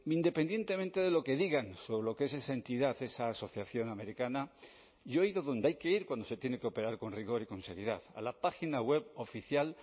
independientemente de lo que digan sobre lo que es esa entidad esa asociación americana yo he ido donde hay que ir cuando se tiene que operar con rigor y con seriedad a la página web oficial